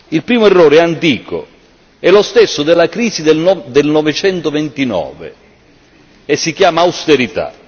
Il primo errore è antico, è lo stesso della crisi del 1929 e si chiama austerità.